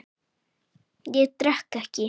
Ég drekk ekki.